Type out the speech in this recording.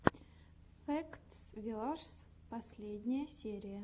фэктс верс последняя серия